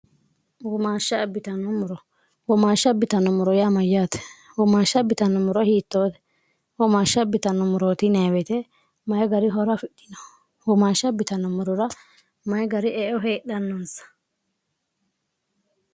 mshwoomaashsha bi0anommoro yaamayyaate humaashsha bitanno muro hiittoote huomaashsha bitnno murooti neewete mayi gari horo afidhino huomaashsha bi0no murura mayi gari eo heedhannoonsa